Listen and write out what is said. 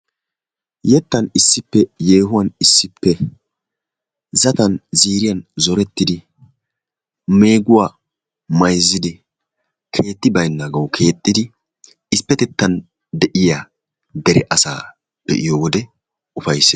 yeettan issippe yeehuwaan issippe zaatan ziiriyaan zoorettidi meeguwaa mayzzidi keetti baynnagawu keexxidi issipettettaan de'iyaa dere asaa be'iyoo wode upayssees.